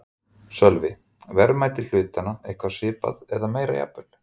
Sölvi: Verðmæti hlutanna eitthvað svipað eða meira jafnvel?